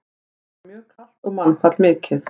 Þar var mjög kalt og mannfall mikið.